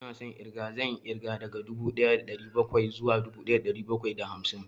Ina son ƙirga, zan yi ƙirga daga dubu ɗaya da ɗari bakwai zuwa dubu ɗaya da ɗari bakwai da hamsin